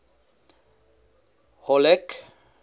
halleck